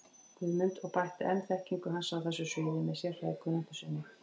Guðmund og bætti enn þekkingu hans á þessu sviði með sérfræðikunnáttu sinni.